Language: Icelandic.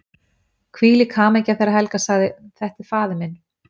Hvílík hamingja þegar Helga sagði:-Þetta er faðir minn!